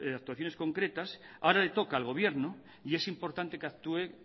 actuaciones concretas ahora le toca al gobierno y es importante que actúe